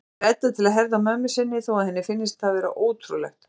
spyr Edda til að herða á mömmu sinni þó að henni finnist það vera ótrúlegt.